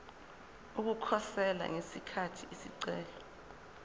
ukukhosela ngesikhathi isicelo